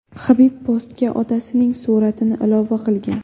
Habib postga otasining suratini ilova qilgan.